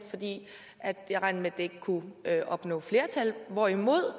at jeg regnede med at ikke kunne opnå flertal hvorimod